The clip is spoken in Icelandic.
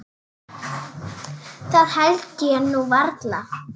Það held ég nú varla.